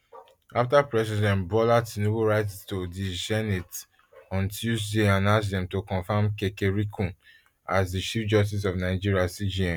afta president bola tinubu write to di senate on tuesday and ask dem to confam kekereekun as the chief justice of nigeria cjn